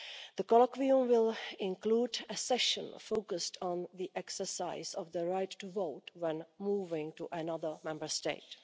The colloquium will include a session focused on the exercise of the right to vote when moving to another Member State.